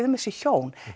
um þessi hjón